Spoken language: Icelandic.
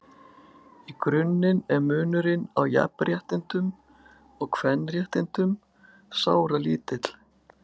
Í grunninn er munurinn á jafnréttindum og kvenréttindum sáralítill.